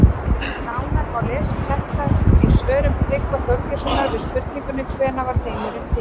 Nánar má lesa um þetta í svörum Tryggva Þorgeirssonar við spurningunum Hvenær varð heimurinn til?